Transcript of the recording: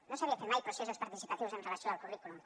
no s’havien fet mai processos participatius amb relació al currículum